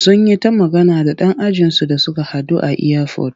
Sun yi ta magana da ɗan ajinsu da suka haɗu a iyafot.